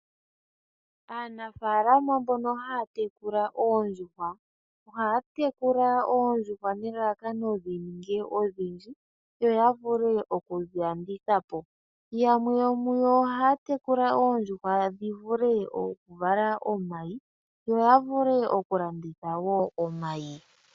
Aanafaalama mbono haya tekula oondjuhwa, ohayedhi tekula nelalakano dhininge odhindji yavule okudhilanditha po, yamwe yomuyo ohaya tekula oondjuhwa dhivale omayi yo yavule okulanditha omayi.